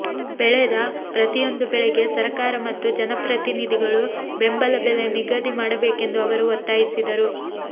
ಬೆಳೆದ ಪ್ರತಿಯೊಂದು ಬೆಳೆಗೆ ಸರಕಾರ ಮತ್ತು ಜನಪ್ರನಿಧಿಗಳು ಬೆಂಬಲ ಬೆಲೆ ನಿಗಧಿ ಮಾಡಬೇಕೆಂದು ಅವರು ಒತ್ತಾಯಿಸಿದರು